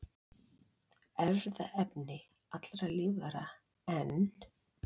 Erfðaefni allra lífvera, en